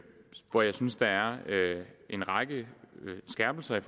hvor jeg synes der er en række skærpelser i